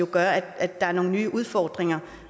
gør at der er nogle nye udfordringer